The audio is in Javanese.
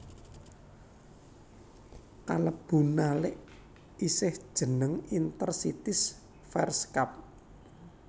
Kalebu nalik isih jeneng Inter Cities Fairs Cup